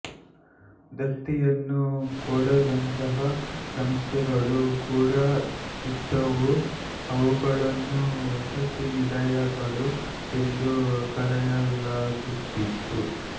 ದತ್ತಿಯನ್ನು ಕೊಡದಂತಹ ಸಂಸ್ಥೆಗಳು ಕೂಡ ಇದ್ದವು ಅವುಗಳನ್ನು ವಸತಿನಿಲಯಗಳು ಎಂದು ಕರೆಯಲಾಗುತ್ತಿತ್ತು